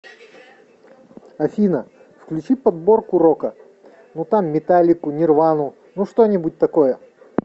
афина включи подборку рока ну там металлику нирвану ну что нибудь такое